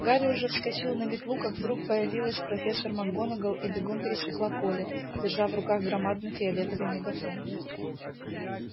гарри уже вскочил на метлу как вдруг появилась профессор макгонагалл и бегом пересекла поле держа в руках громадный фиолетовый мегафон